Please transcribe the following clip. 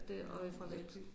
Eller en fra Valby